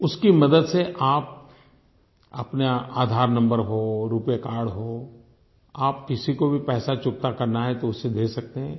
उसकी मदद से आप अपना आधार नंबर हो रूपे कार्ड हो आप किसी को भी पैसा चुकता करना है तो उससे दे सकते हैं